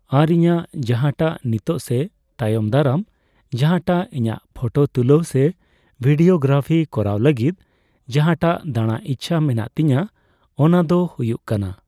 ᱟᱨ ᱤᱧᱟᱹᱜ ᱡᱟᱦᱟᱸᱴᱟᱜ ᱱᱤᱛᱚᱜ ᱥᱮ ᱛᱟᱭᱚᱢ ᱫᱟᱨᱟᱢ ᱡᱟᱦᱟᱸᱴᱟᱜ ᱤᱧᱟᱹᱜ ᱯᱷᱳᱴᱳ ᱛᱩᱞᱟᱹᱣ ᱥᱮ ᱵᱷᱤᱰᱭᱳ ᱜᱽᱨᱟᱯᱷᱤ ᱠᱚᱨᱟᱣ ᱞᱟᱹᱜᱤᱫ ᱡᱟᱦᱟᱸᱴᱟᱜ ᱫᱟᱬᱟ ᱤᱪᱪᱷᱟᱹ ᱢᱮᱱᱟᱜ ᱛᱤᱧᱟᱹ ᱚᱱᱟ ᱫᱚ ᱦᱩᱭᱩᱜ ᱠᱟᱱᱟ